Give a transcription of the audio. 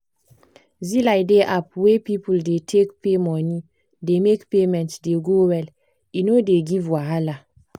zelie di app wey people dey take pay money dey make payment dey go well e no dey give wahala.